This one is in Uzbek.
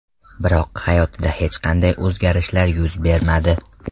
Biroq hayotida hech qanday o‘zgarishlar yuz bermadi.